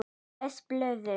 Les blöðin.